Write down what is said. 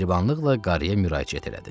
Mehribanlıqla qarıya müraciət elədi.